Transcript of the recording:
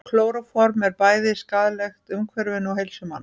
Klóróform er bæði skaðlegt umhverfinu og heilsu manna.